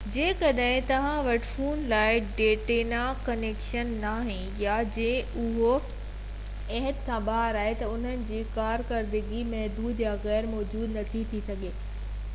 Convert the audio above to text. جيڪڏهن توهان وٽ پنهنجي فون لاءِ ڊيٽا ڪنيڪشن ناهي يا جڏهن اهو حد کان ٻاهر آهي ته انهن جي ڪارڪردگي محدود يا غير موجود ٿي سگهي ٿي